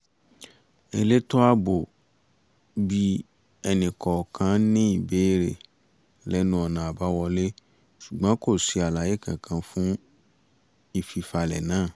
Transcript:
elétò ààbò bi ẹnìkọ̀ọ̀kan ní ìbéèrè lẹ́nu ọ̀nà abáwọlé ṣùgbọ́n kò ṣe alàyé kankan fún ìfifalẹ̀ náà